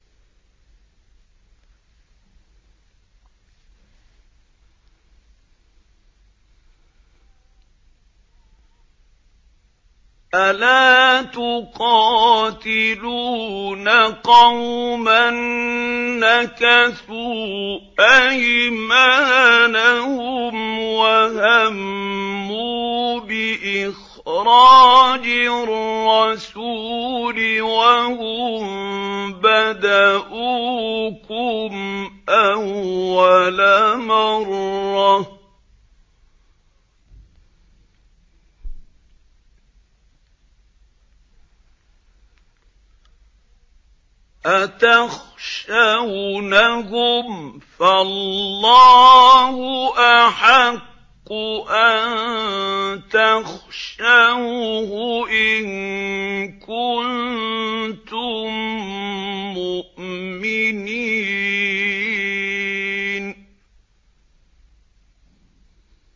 أَلَا تُقَاتِلُونَ قَوْمًا نَّكَثُوا أَيْمَانَهُمْ وَهَمُّوا بِإِخْرَاجِ الرَّسُولِ وَهُم بَدَءُوكُمْ أَوَّلَ مَرَّةٍ ۚ أَتَخْشَوْنَهُمْ ۚ فَاللَّهُ أَحَقُّ أَن تَخْشَوْهُ إِن كُنتُم مُّؤْمِنِينَ